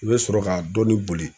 I bɛ sɔrɔ ka dɔɔnin boli